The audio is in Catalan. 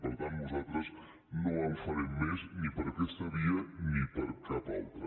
per tant nosaltres no en farem més ni per aquesta via ni per cap altra